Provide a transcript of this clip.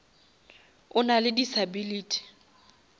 o nale disability